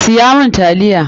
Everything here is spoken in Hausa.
Siya mun taliya!